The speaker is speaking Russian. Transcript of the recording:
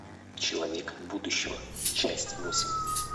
человек будущего часть восемь